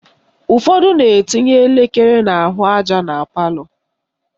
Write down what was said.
Ụfọdụ na-etinye elekere n'ahụaja na palọ